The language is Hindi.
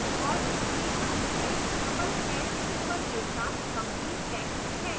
और इसमें and में double hash ##symbol के साथ काफी text है